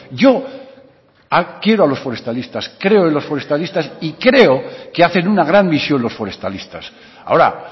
yo quiero a los forestalistas creo en los forestalistas y creo que hacen una gran misión los forestalistas ahora